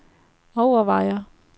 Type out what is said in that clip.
overvejer